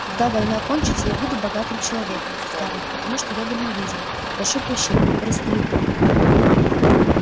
когда война кончится я буду богатым человеком скарлетт потому что я дальновиден прошу прощения корыстолюбив